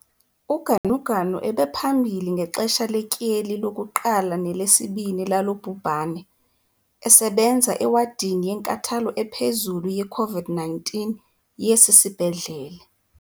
UGanuganu ebephambili ngexesha letyeli lokuqala nelesibini lalo bhubhane, esebenza ewadini yenkathalo ephezulu ye-COVID-19 yesi sibhedlele.